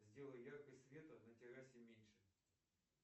сделай яркость света на террасе меньше